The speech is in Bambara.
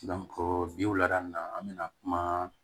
bi wulada an be na kuma